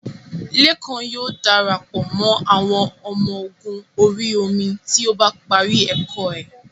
Lékan yóò dara pọ̀ mọ́ àwọn ọmọ ogun orí omi tí ó bá parí ẹ̀kọ́ ẹ́